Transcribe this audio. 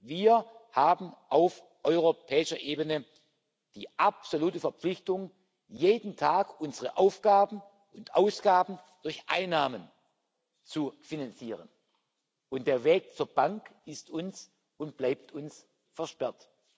Wir haben auf europäischer Ebene die absolute Verpflichtung, jeden Tag unsere Aufgaben und Ausgaben durch Einnahmen zu finanzieren, und der Weg zur Bank ist und bleibt uns versperrt.